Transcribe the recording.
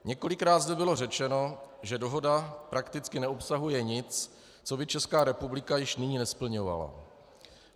Několikrát zde bylo řečeno, že dohoda prakticky neobsahuje nic, co by Česká republika již nyní nesplňovala.